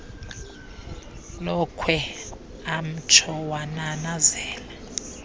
lokhwe amtsho wananazela